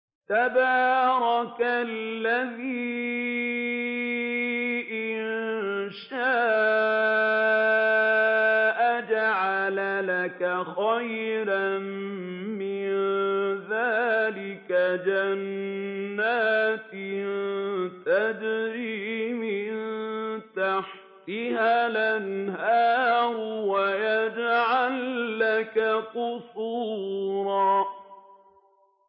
تَبَارَكَ الَّذِي إِن شَاءَ جَعَلَ لَكَ خَيْرًا مِّن ذَٰلِكَ جَنَّاتٍ تَجْرِي مِن تَحْتِهَا الْأَنْهَارُ وَيَجْعَل لَّكَ قُصُورًا